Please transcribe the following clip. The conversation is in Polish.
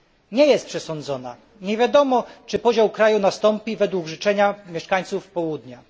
Nie jest przesądzona, nie wiadomo, czy podział kraju nastąpi według życzenia mieszkańców Południa.